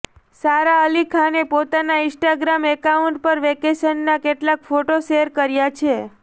સારા અલી ખાને પોતાના Instagram account પર વેકેશનના કેટલાક ફોટો શેર કર્યા છે